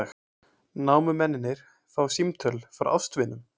Námumennirnir fá símtöl frá ástvinum